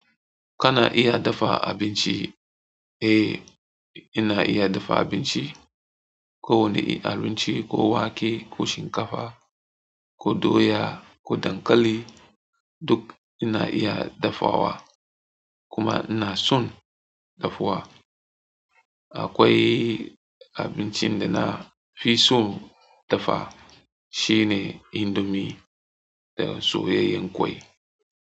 Kana iya dafa abinci? Eh, ina iya dafa abinci. Ko wane irin abinci, ko wake, ko shinkafa, ko doya, ko dankali, duk ina iya dafawa kuma ina son dafuwa. Akwai abincin da na fi son dafawa, shine indomie da soyayyen kwai.